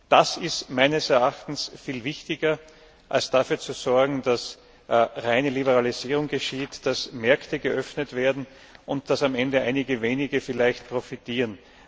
Das ist viel wichtiger, als dafür zu sorgen, dass reine Liberalisierung geschieht, dass Märkte geöffnet werden und dass am Ende einige wenige vielleicht profitieren.